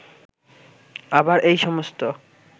আবার এই সমস্ত